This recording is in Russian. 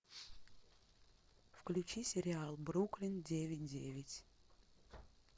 включи сериал бруклин девять девять